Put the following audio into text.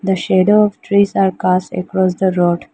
The shade of trees are cast across the road.